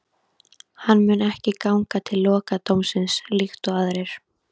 Hann mun ekki ganga til lokadómsins líkt og aðrir.